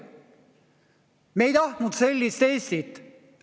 Me ei tahtnud sellist Eestit.